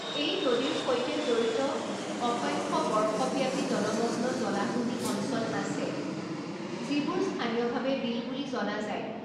এই নদীৰ সৈতে জড়িত অসংখ্য বৰ্ষব্যাপী জলমগ্ন জলাহভূমি অঞ্চল আছে, যিবোৰ স্থানীয়ভাৱে বিল বুলি জনা যায়।